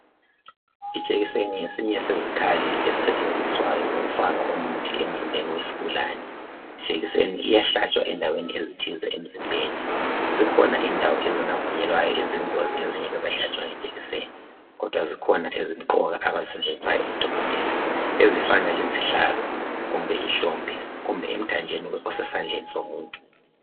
Ijekiseni ngesinye sezikhali ezisetshenziswayo ukufaka umuthi emzimbeni wesigulane. Ijekiseni iyahlatshwa endaweni ezithize emzimbeni. Zikhona indawo eziyingozi ezingavunyelwayo ukuhlatshwa ijekiseni kodwa ezimqoka ezihlatshwayo ezinjengezihlalo, ihlombe kumbe umthambo osesandleni somuntu